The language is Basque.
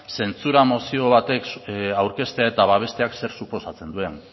zentzura mozio batek aurkeztea eta babesteak zer suposatzen duen